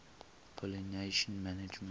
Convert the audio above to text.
pollination management